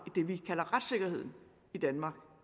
det vi kalder retssikkerheden i danmark